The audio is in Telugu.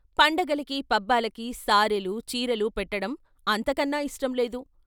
పండగలకి, పబ్బాలకి సారేలూ, చీరెలూ పెట్టటం అంతకన్నా ఇష్టం లేదు.